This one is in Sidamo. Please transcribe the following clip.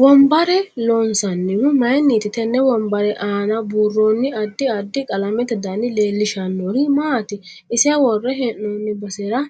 Wonbbarra loonsanihu mayiiniti tenne wonbbarre aana buurooni addi addi qalamete dani leelishanori maati ise worre hee'nooni basera